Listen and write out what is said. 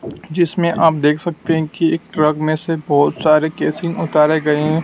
जिसमें आप देख सकते हैं कि एक ट्रक में से बहोत सारे उतारे गए--